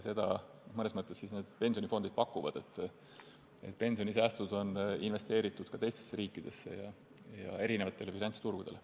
Seda need pensionifondid mõnes mõttes pakuvadki, sest pensionisäästud on investeeritud ka teistesse riikidesse ja erinevatele finantsturgudele.